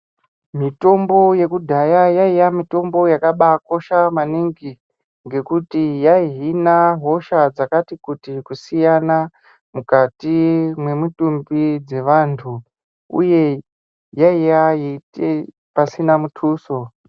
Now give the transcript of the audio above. Mitombo yekudhaya yaiya mitombo yakaba kosha maningi ngekuti yai hina hosha dzakati kuti kusiyana mukati memwutumbi dzevantu uye yaiya yeite pasina mutuso